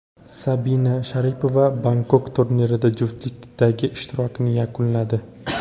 Sabina Sharipova Bangkok turnirida juftlikdagi ishtirokini yakunladi.